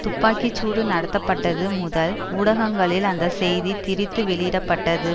துப்பாக்கி சூடு நடத்தப்பட்டது முதல் ஊடகங்களில் அந்த செய்தி திரித்து வெளியிட பட்டது